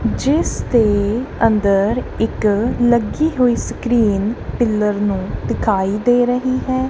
ਜਿੱਸਦੇ ਅੰਦਰ ਇੱਕ ਲੱਗੀ ਹੋਈ ਸਕ੍ਰੀਨ ਪਿੱਲਰ ਨੂੰ ਦਿਖਾਈ ਦੇ ਰਹੀ ਹੈ।